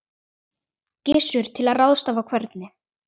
Gissur: Til að ráðstafa hvernig?